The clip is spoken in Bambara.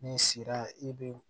Ni sira i bɛ